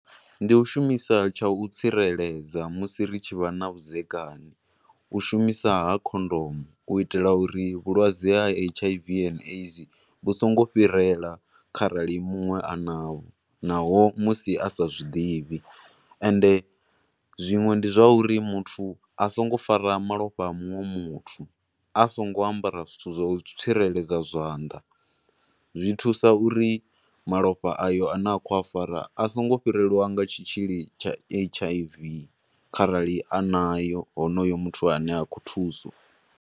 Ndi u shumisa tsha u tsireledza musi ri tshi vha na vhudzekani. U shumisa ha khondomu, u itela uri vhulwadze ha H_I_V and AIDS vhu songo fhirela arali munwe a naho, naho musi a sa zwiḓivhi, ende zwinwe nda zwa uri muthu a songo fara malofha a munwe muthu a songo ambara zwithu zwa u tsireledza zwanḓa, zwi thuse uri malofha ayo a ne a khou a fara a songo fhirelwa nga tshitzhili tsha H_I_V kharali a nayo honoyo muthu ane a khou thuswa.